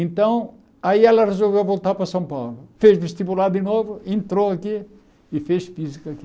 Então, aí ela resolveu voltar para São Paulo, fez vestibular de novo, entrou aqui e fez física aqui.